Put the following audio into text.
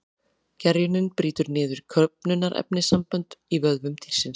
Gerjunin brýtur niður köfnunarefnissambönd í vöðvum dýrsins.